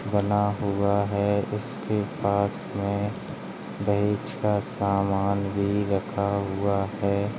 बना हुआ है उसके पास में दहेज़ का सामान भी रखा हुआ है।